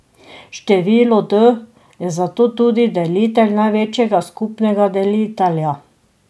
Število d je zato tudi delitelj največjega skupnega delitelja.